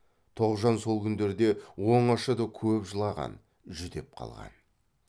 тоғжан сол күндерде оңашада көп жылаған жүдеп қалған